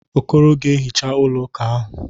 Okoro ga-ehicha ụlọ ụka ahụ.